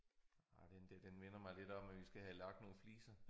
Ej den der den minder mig lidt om at vi skal have lagt nogle fliser